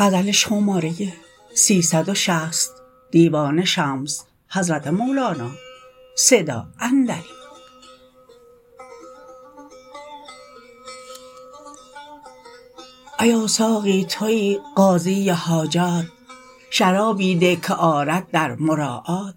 ایا ساقی توی قاضی حاجات شرابی ده که آرد در مراعات